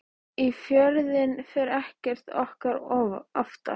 Í Fjörðinn fer ekkert okkar oftar.